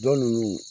Dɔn nunnu